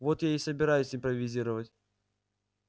вот я и собираюсь импровизировать